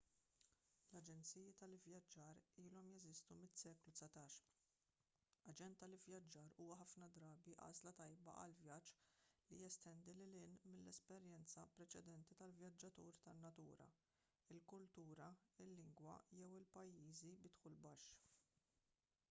l-aġenziji tal-ivvjaġġar ilhom jeżistu mis-seklu 19 aġent tal-ivvjaġġar huwa ħafna drabi għażla tajba għal vjaġġ li jestendi lil hinn mill-esperjenza preċedenti tal-vjaġġatur tan-natura il-kultura il-lingwa jew il-pajjiżi bi dħul baxx